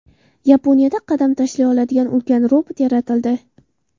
Yaponiyada qadam tashlay oladigan ulkan robot yaratildi .